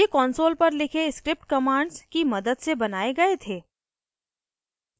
ये console पर लिखे script commands की मदद से बनाये गए थे